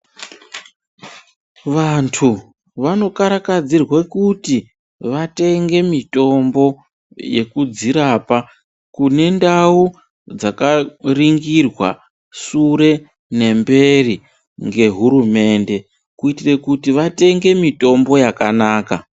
Vanthu vanokarakidzirwe kuti vatenge mitombo kundau dzakaningirwe sure nemberi nehurumende kuitire kuti vatenge mitombo yakanaka.